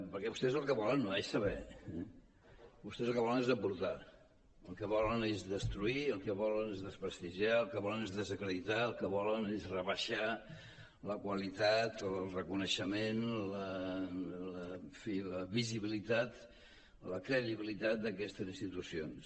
perquè vostès el que volen no és saber eh vostès el que volen és embrutar el que volen és destruir el que volen és desprestigiar el que volen és desacreditar el que volen és rebaixar la qualitat o el reconeixement en fi la visibilitat la credibilitat d’aquestes institucions